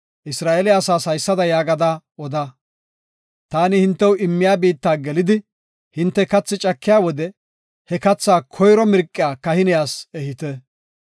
Isra7eele asaas haysada yaagada oda; taani hintew immiya biitta gelidi hinte kathi cakiya wode, he kathaa koyro mirqiya kahiniyas ehite.